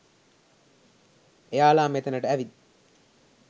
එයාලා මෙතැනට ඇවිත්